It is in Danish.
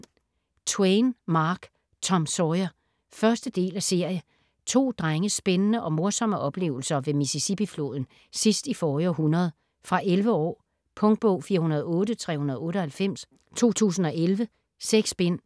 Twain, Mark: Tom Sawyer 1. del af serie. To drenges spændende og morsomme oplevelser ved Mississippifloden sidst i forrige århundrede. Fra 11 år. Punktbog 408398 2011. 6 bind.